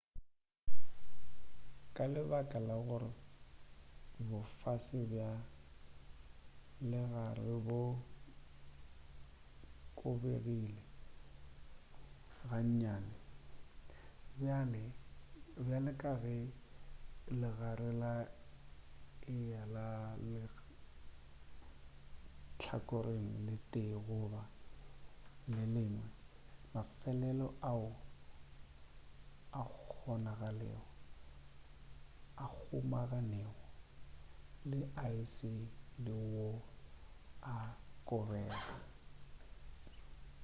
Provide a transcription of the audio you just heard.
ka lebaka la gore bofase bja legare bo kobegile ga nnyane bjale ka ge legare le eya ka lehlakoreng le tee goba le lengwe mafelelo ao a kgomanego le aese le wo a kobega